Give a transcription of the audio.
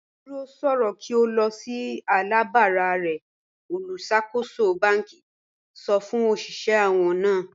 Dúró sọ̀rọ̀ kí o lọ̀ sí alábàrà rẹ̀ olúṣàkóṣọ̀ bánkì sọ̀ fún oṣiṣẹ̀ àwọn náà.